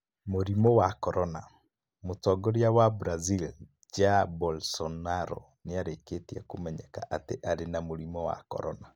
Mũrimũ wa Korona : Motongoria wa Brazil, Jair Bolsonaro, nĩarĩkĩtie kũmenyeka atĩ arĩ na mũrimũ wa corona.